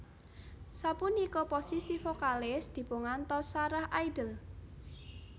Sapunika posisi vokalis dipungantos Sarah Idol